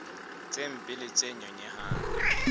tse mpe le tse nyonyehang